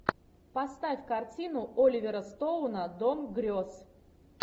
поставь картину оливера стоуна дом грез